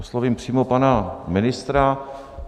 Oslovím přímo pana ministra.